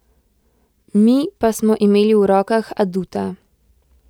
Mi pa smo imeli v rokah aduta.